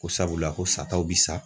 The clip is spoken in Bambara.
Ko sabula ko sataw bi sa